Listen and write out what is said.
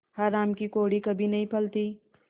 हराम की कौड़ी कभी नहीं फलती